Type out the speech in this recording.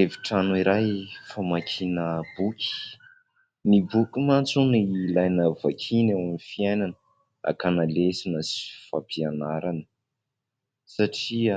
Efitrano iray famakiana boky, ny boky mantsy hono ilaina vakiana eo amin'ny fiainana hakana lesona sy fampianarana satria